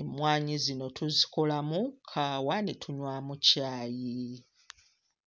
Emmwanyi zino tuzikolamu kkaawa ne tunywamu caayi.